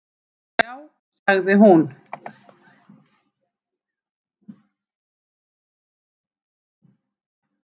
Já sagði hún.